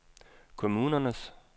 kommunernes